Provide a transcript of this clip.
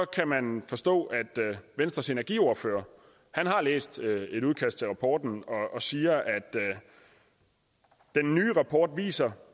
kan man forstå at venstres energiordfører har læst et udkast til rapporten og siger at den nye rapport viser